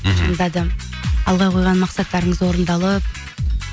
алға қойға мақсаттырыңыз орындалып